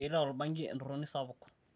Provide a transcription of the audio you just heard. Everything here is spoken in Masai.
keita olbanki entoroni sapuk